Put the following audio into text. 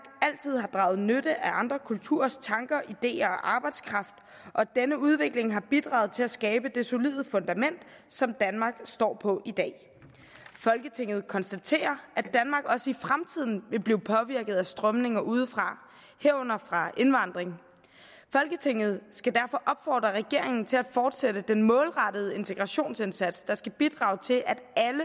altid har draget nytte af andre kulturers tanker ideer og arbejdskraft og at denne udvikling har bidraget til at skabe det solide fundament som danmark står på i dag folketinget konstaterer at danmark også i fremtiden vil blive påvirket af strømninger udefra herunder fra indvandring folketinget skal derfor opfordre regeringen til at fortsætte den målrettede integrationsindsats der skal bidrage til at